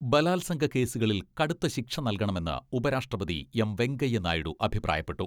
ബലാത്സംഗ കേസുകളിൽ കടുത്ത ശിക്ഷ നല്കണമെന്ന് ഉപരാഷ്ട്രപതി എം വെങ്കയ്യ നായിഡു അഭിപ്രായപ്പെട്ടു.